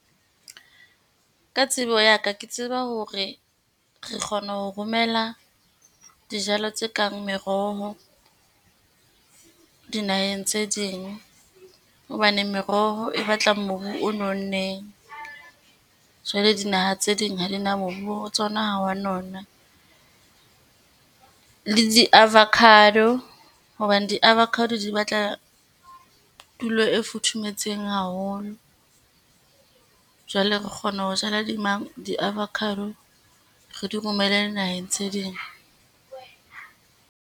Ka tsebo ya ka, ke tseba hore re kgona ho romela dijalo tse kang meroho dinaheng tse ding, hobane meroho e batlang mobu o nonneng. Jwale dinaha tse ding ha di na , mobu wa tsona ha o wa nona, le di-avocado hobane di-avocado di batla tulo e futhumetseng haholo. Jwale re kgona ho jala di di-avocado re di romelle dinaheng tse ding.